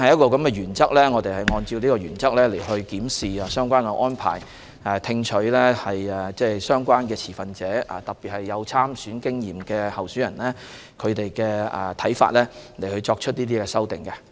我們按照這個原則來檢視相關的安排，聽取持份者的意見，特別是有參選經驗的候選人的看法，來作出修訂。